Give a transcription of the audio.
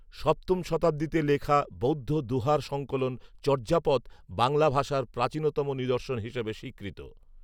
সপ্তম শতাব্দীতে লেখা বৌদ্ধ দোহার সঙ্কলন চর্যাপদ বাংলা ভাষার প্রাচীনতম নিদর্শন হিসেবে স্বীকৃত